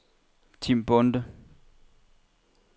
Tim Bonde